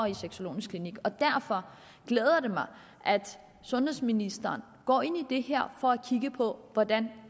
en sexologisk klinik og derfor glæder det mig at sundhedsministeren går ind i det her for at kigge på hvordan